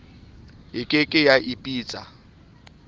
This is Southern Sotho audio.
e ke ke ya ipitsa